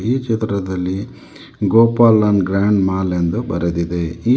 ಈ ಚಿತ್ರದಲ್ಲಿ Gopalan grand mall ಎಂದು ಬರಿದಿದೆ ಈ --